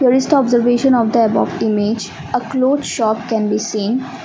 best observation of the above image a cloth shop can be seen.